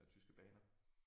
Eller tyske baner